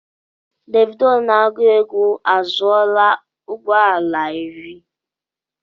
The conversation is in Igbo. Davidoo na-agụ égwu azụọla ụgbọala irí